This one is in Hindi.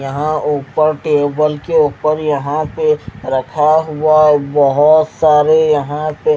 यहाँ ऊपर टेबल के ऊपर यहां पे रखा हुआ है बहुत सारे यहां पे--